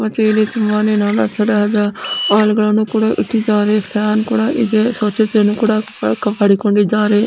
ಮತ್ತೆ ಇಲ್ಲಿ ತುಂಬಾನೇ ನಾನಾ ತರಹದ ಆಯಿಲ್ ಗಳನ್ನು ಕೂಡ ಇಟ್ಟಿದ್ದಾರೆ ಫ್ಯಾನ್ ಕೂಡ ಇದೆ ಸ್ವಚ್ಛತೆಯ್ನನು ಕೂಡ ಕಾಪಾಡಿಕೊಂಡಿದ್ದಾರೆ.